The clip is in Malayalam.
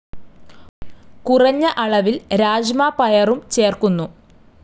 കുറഞ്ഞ അളവിൽ രാജ്മ പയറും ചേർക്കുന്നു.